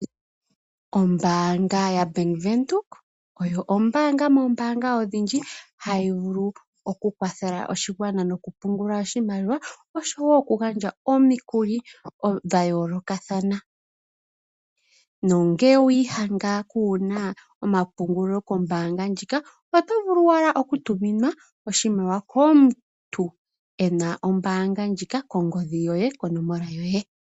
Ombaanga ya Bank Windhoek oyo ombaanga moombaanga odhindji hayi vulu okukwathela oshigwana nikupungula oshimaliwa, noshowo okugandja omikuli dha yoolokathana. No ngele owa iyadha kuna omapungulilo kombaanga ndjika, oto vulu wala okutuminwa oshimaliwa komuntu ena ombaanga ndjika kongodhi yoye, konomola yoye.